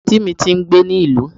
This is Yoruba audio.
anti mí tí ń gbé ní ìlú